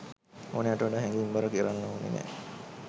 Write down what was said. ඕනෑවට වඩා හැඟීම් බර කරන්න ඕන නෑ.